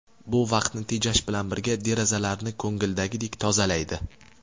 Bu vaqtni tejash bilan birga, derazalarni ko‘ngildagidek tozalaydi.